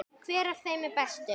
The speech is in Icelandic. Hver af þeim er bestur?